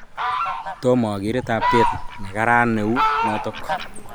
Tomo agere taptet ne karan neu notok